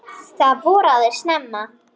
Það voraði snemma.